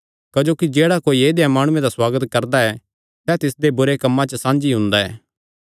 क्जोकि जेह्ड़ा कोई ऐदेय माणुये दा सुआगत करदा ऐ सैह़ तिसदे बुरे कम्मां च साझी हुंदा ऐ